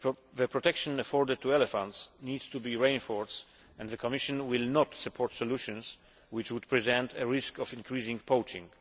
The protection afforded to elephants needs to be reinforced, and the Commission will not support solutions which would present a risk of increasing poaching.